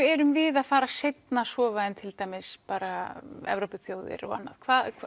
erum við að fara seinna að sofa heldur en til dæmis bara Evrópuþjóðir og annað hvað